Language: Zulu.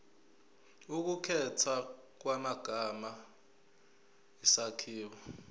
ukukhethwa kwamagama isakhiwo